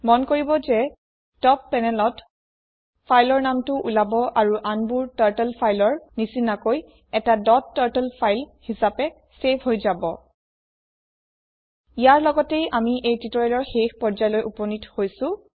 মন কৰিব যে টপ panelত fileৰ নামটো ওলাব আৰু আনবোৰ টাৰ্টল ফাইলৰ নিচিনাকৈ এটা ডট টাৰ্টল ফাইল হিচাপে চেভ হৈ যাব ইয়াৰ লগতেই আমি এই টিউটৰিয়েলৰ শেষ পৰ্য্যায়লৈ উপনীত হৈছো